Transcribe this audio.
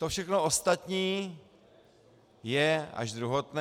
To všechno ostatní je až druhotné.